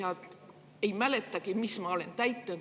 Ma ei mäletagi, mis ma olen täitnud.